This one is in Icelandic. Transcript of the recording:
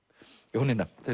Jónína